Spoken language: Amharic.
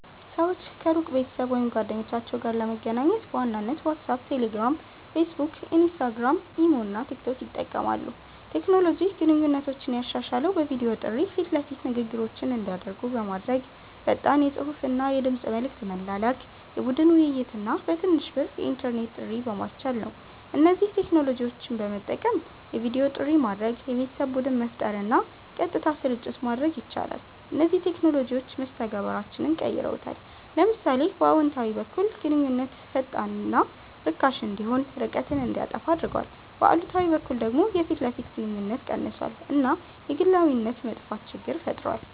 ሰዎች ከሩቅ ቤተሰብ ወይም ጓደኞቻቸው ጋር ለመገናኘት በዋናነት ዋትሳፕ፣ ቴሌግራም፣ ፌስቡክ፣ ኢንስታግራም፣ ኢሞ እና ቲክቶክ ይጠቀማሉ። ቴክኖሎጂ ግንኙነቶችን ያሻሻለው በቪዲዮ ጥሪ ፊት ለፊት ንግግሮች እንዲደረጉ በማድረግ፣ ፈጣን የጽሁፍና የድምጽ መልዕክት መላላክ፣ የቡድን ውይይት እና በትንሽ ብር የኢንተርኔት ጥሪ በማስቻል ነው። እነዚህን ቴክኖሎጂዎች በመጠቀም የቪዲዮ ጥሪ ማድረግ፣ የቤተሰብ ቡድን መፍጠር እና ቀጥታ ስርጭት ማድረግ ይቻላል። እነዚህ ቴክኖሎጂዎች መስተጋብራችንን ቀይረውታል። ለምሳሌ በአዎንታዊ በኩል ግንኙነት ፈጣንና ርካሽ እንዲሆን፣ ርቀትን እንዲያጠፋ አድርጓል፤ በአሉታዊ በኩል ደግሞ የፊት ለፊት ግንኙነት ቀንሷል እና የግላዊነት መጥፋት ችግር ፈጥሯል።